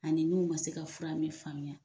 Ani n'u ma se ka fura min faamuya